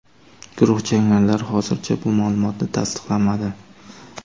Guruh jangarilari hozircha bu ma’lumotni tasdiqlamadi.